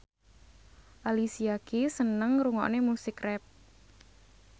Alicia Keys seneng ngrungokne musik rap